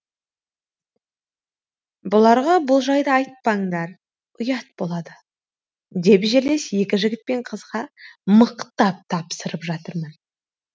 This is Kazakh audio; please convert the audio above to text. бұларға бұл жайды айтпаңдар ұят болады деп жерлес екі жігіт пен қызға мықтап тапсырып жатырмын